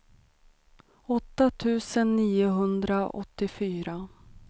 åtta tusen niohundraåttiofyra